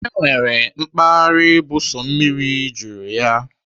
E nwere mpaghara bụ sọ mmiri juru ya.